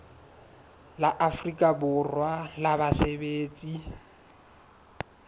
la afrika borwa la basebetsi